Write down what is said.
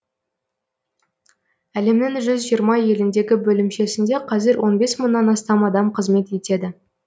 әлемнің жүз жиырма еліндегі бөлімшесінде қазір он бес мыңнан астам адам қызмет етеді